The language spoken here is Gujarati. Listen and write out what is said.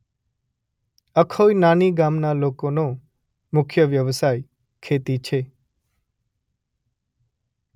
અખોઇ નાની ગામના લોકોનો મુખ્ય વ્યવસાય ખેતી છે.